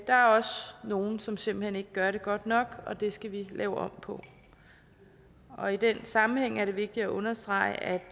er også nogle som simpelt hen ikke gør det godt nok og det skal vi lave om på og i den sammenhæng er det vigtigt at understrege at